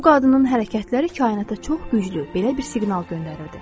Bu qadının hərəkətləri kainata çox güclü, belə bir siqnal göndərirdi.